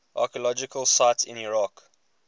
archaeological sites in iraq